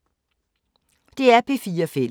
DR P4 Fælles